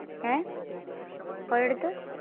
ഹേ? പോയ അടുത്ത്?